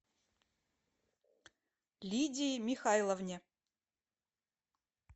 лидии михайловне